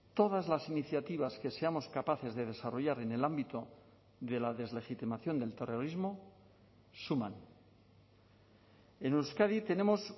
todas las iniciativas que seamos capaces de desarrollar en el ámbito de la deslegitimación del terrorismo suman en euskadi tenemos